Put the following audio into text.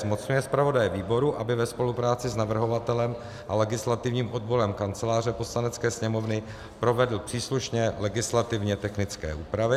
Zmocňuje zpravodaje výboru, aby ve spolupráci s navrhovatelem a legislativním odborem Kanceláře Poslanecké sněmovny provedl příslušné legislativně technické úpravy.